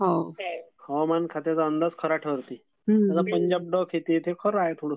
हवामान खात्याच्या अंदाज खरा ठरते.